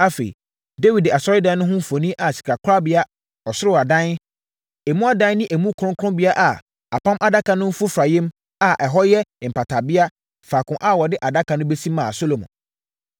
Afei Dawid de asɔredan no ho mfoni a sikakorabea, ɔsoro adan, emu adan ne emu kronkronbea a Apam Adaka no mfofareɛm a ɛhɔ yɛ mpatabea, faako a wɔde Adaka no bɛsi maa Salomo.